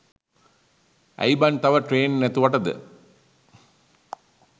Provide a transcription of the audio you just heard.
ඇයි බන් තව ට්‍රේන් නැතුවටද